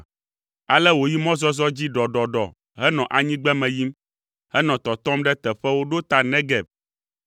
Ale wòyi mɔzɔzɔ dzi ɖɔɖɔɖɔ henɔ anyigbeme yim, henɔ tɔtɔm ɖe teƒewo ɖo ta Negeb.